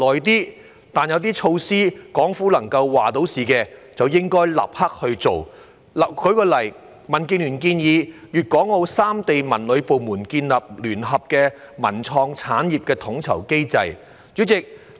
然而，有些措施可由港府作主，便應該立刻推行，例如民建聯建議粤港澳三地文旅部門建立聯合的文創產業統籌機制。